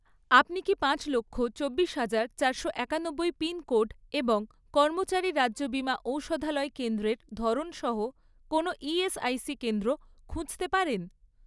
আপনি কি পাঁচ লক্ষ, চব্বিশ হাজার, চারশো একানব্বই পিনকোড এবং কর্মচারী রাজ্য বিমা ঔষধালয় কেন্দ্রের ধরন সহ কোনও ইএসআইসি কেন্দ্র খুঁজতে পারেন?